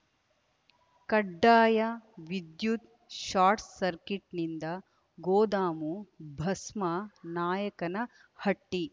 ಕಡ್ಡಾಯವಿದ್ಯುತ್‌ ಶಾರ್ಟ್‌ಸರ್ಕಿಟ್‌ನಿಂದ ಗೋದಾಮು ಭಸ್ಮ ನಾಯಕನಹಟ್ಟಿ